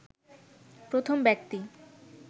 প্রথম ব্যক্তি